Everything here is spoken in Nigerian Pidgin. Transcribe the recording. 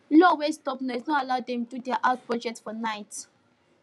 law wey stop noise no allow them do their house project for night